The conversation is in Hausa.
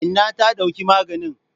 Inna ta dauki maganin.